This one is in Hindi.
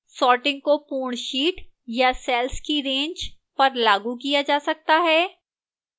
sorting को पूर्ण sheet या cells की range पर लागू किया जा सकता है